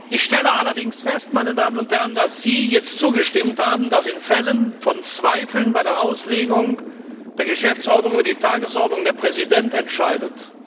Ich stelle allerdings fest, meine Damen und Herren, dass Sie jetzt zugestimmt haben, dass in Fällen von Zweifeln bei der Auslegung der Geschäftsordnung betreffend die Tagesordnung der Präsident entscheidet.